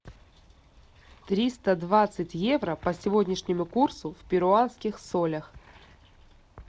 триста двадцать евро по сегодняшнему курсу в перуанских солях